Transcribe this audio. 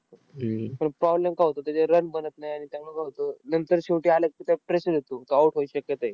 पण problem काय होतो? त्याचे run बनत नाही. आणि त्यामुळं काय होतं? नंतर शेवटी आलं की, त्या pressure येतो. तो out व्हायची शक्यता आहे.